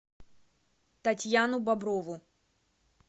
татьяну боброву